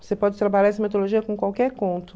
Você pode trabalhar essa metodologia com qualquer conto.